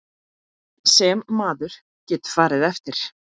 Sem maður getur farið eftir.